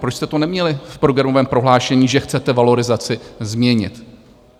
Proč jste to neměli v programovém prohlášení, že chcete valorizaci změnit?